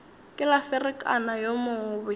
ke la ferekana yo mobe